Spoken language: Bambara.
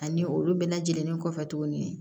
Ani olu bɛɛ lajɛlen kɔfɛ tuguni